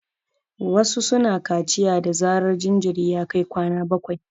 Wasu su na kaciya da zarar jinjiri ya kai kwana bakwai